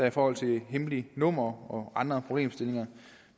i forhold til hemmeligt nummer og andre problemstillinger